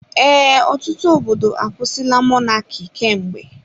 Ee, ọtụtụ obodo akwusila Mọnaki kemgbe.